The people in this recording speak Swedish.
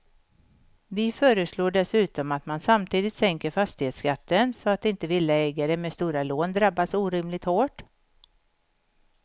Vi föreslår dessutom att man samtidigt sänker fastighetsskatten så att inte villaägare med stora lån drabbas orimligt hårt.